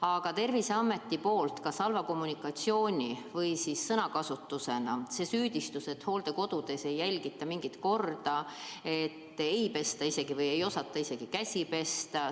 Aga Terviseametilt kõlas kas halva kommunikatsiooni või sõnakasutuse tagajärjel süüdistus, et hooldekodudes ei järgita mingit korda, ei pesta käsi või lausa ei osata käsi pesta.